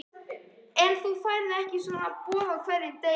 En þú færð ekki svona boð á hverjum degi.